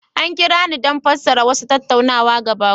An kira ni don fassara wasu tattaunawa ga baƙon